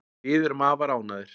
Við erum afar ánægðir